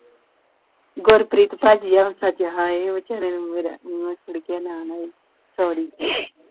ਗੁਰਪ੍ਰੀਤ ਭਾਜੀ ਆਹੋ ਸੱਚ ਹਏ ਵਿਚਾਰੇ ਨੂੰ ਮੇਰਾ ਮੂੰਹ ਚੜ੍ਹ ਗਿਆ ਨਾਂ sorry